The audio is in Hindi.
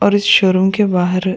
और इस शोरूम के बाहर --